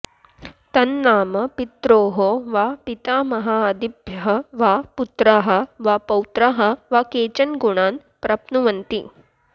तन्नाम पित्रोः वा पितामहादिभ्यः वा पुत्राः वा पौत्राः वा केचन गुणान् प्राप्नुवन्ति